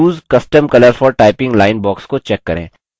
use custom colour for typing line box को check करें